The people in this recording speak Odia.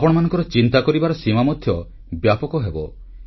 ଆପଣମାନଙ୍କର ଚିନ୍ତା କରିବାର ସୀମା ମଧ୍ୟ ବ୍ୟାପକ ହେବ